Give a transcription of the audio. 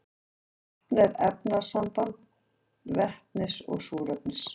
vatn er efnasamband vetnis og súrefnis